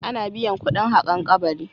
Ana biyan kuɗin haƙan kabari.